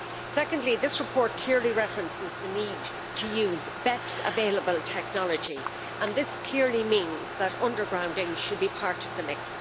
Secondly, this report clearly references the need to use Best Available Technology and this clearly means that undergrounding should be part of the mix.